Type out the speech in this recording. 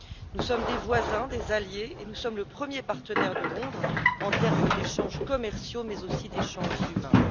Nous sommes des voisins, des alliés et nous sommes le premier partenaire de Londres en termes d'échanges commerciaux, mais aussi d'échanges humains.